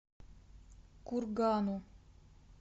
кургану